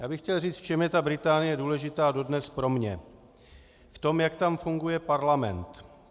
Já bych chtěl říct, v čem je ta Británie důležitá dodnes pro mě: v tom, jak tam funguje parlament.